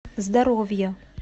здоровье